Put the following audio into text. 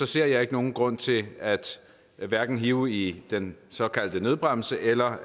ser jeg ikke nogen grund til hverken at hive i den såkaldte nødbremse eller